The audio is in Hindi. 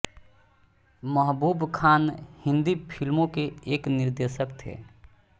महबूब ख़ान हिन्दी फ़िल्मों के एक निर्देशक थे